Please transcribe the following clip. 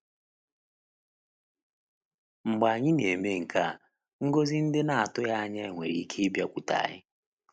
Mgbe anyị na-eme nke a, ngọzi ndị a na-atụghị anya ya nwere ike ịbịakwute anyị.